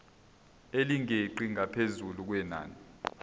elingeqi ngaphezu kwenani